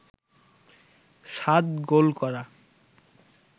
৭ goal করা